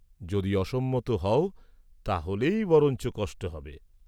যদি অসম্মত হও, তা হলেই বরঞ্চ কষ্ট হবে।